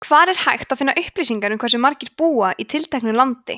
hvar er hægt að finna upplýsingar um hversu margir búa í tilteknu landi